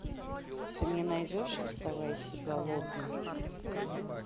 ты мне найдешь оставайся голодным